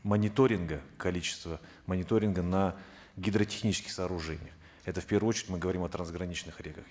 мониторинга количество мониторинга на гидротехнических сооружениях это в первую очередь мы говорим о трансграничных реках